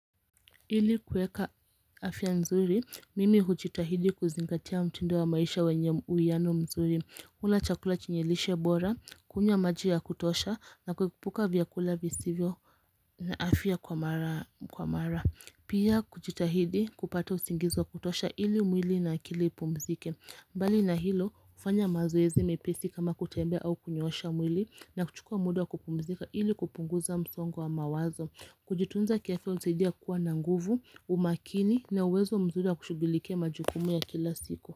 Ili kuweka afya nzuri, mimi hujitahidi kuzingatia mtindo wa maisha wenye uwiano mzuri. Kula chakula chenye lishe bora, kunywa maji ya kutosha, na kuepuka vyakula visivyo na afya kwa mara. Pia kujitahidi kupata usingizi wa kutosha ili mwili na akili ipumzike. Bali na hilo, kufanya mazoezi mepesi kama kutembea au kunyoosha mwili na kuchukua muda kupumzika ili kupunguza msongo wa mawazo. Kujitunza kiafya unisaidia kuwa na nguvu, umakini na uwezo mzuri wa kushughulikia majukumu ya kila siku.